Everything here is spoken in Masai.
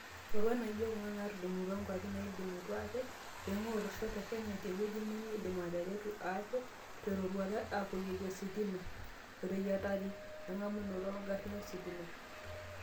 Roruat naajio kuna naatudumutua nguapi naaidimutua aate eingua olosho le Kenya teweji nemeidim ateretu aate teroruata apoyieki ositima, oo neyiatari engamunoto oo garin ositima.